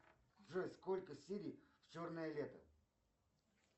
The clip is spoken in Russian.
джой сколько серий в черное лето